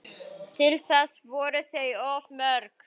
Til þess voru þau of mörg